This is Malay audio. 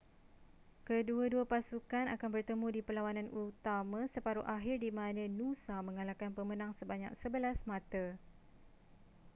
kedua-dua pasukan akan bertemu di perlawanan utama separuh akhir di mana noosa mengalahkan pemenang sebanyak 11 mata